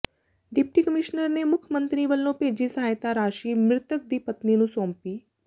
deputy commissioner ਨੇ ਮੁੱਖ ਮੰਤਰੀ ਵੱਲੋਂ ਭੇਜੀ ਸਹਾਇਤਾ ਰਾਸ਼ੀ ਮ੍ਰਿਤਕ ਦੀ ਪਤਨੀ ਨੂੰ ਸੌਂਪੀ